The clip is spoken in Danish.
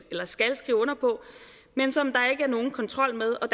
skal skrive under på men som der ikke er nogen kontrol med